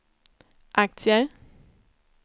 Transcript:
aktier